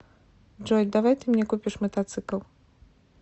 джой давай ты мне купишь мотоцикл